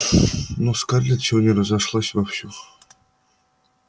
ну скарлетт сегодня разошлась вовсю